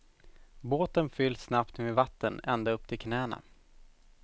Båten fylls snabbt med vatten ända upp till knäna.